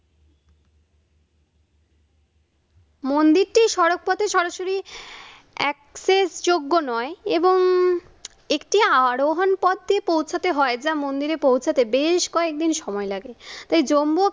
মন্দিরটি সড়কপথে সরাসরি access যোগ্য নয় এবং একটি আরোহণ পত্রে পৌছাতে হয় যা মন্দিরে পৌছাতে বেশ কয়েকদিন সময় লাগে। তাই জম্বু